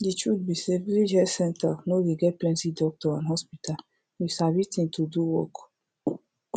de truth be say village health center no dey get plenti doctor and hospital you sabi thing to do work